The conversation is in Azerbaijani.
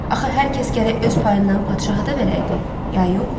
Axı hər kəs gərək öz payından padşaha da verəydi, ya yox?